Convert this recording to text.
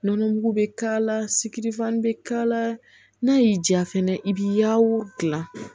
Nɔnɔ mugu bɛ k'a la sikiri fan bɛ k'a la n'a y'i diya fana i b'i yaw dilan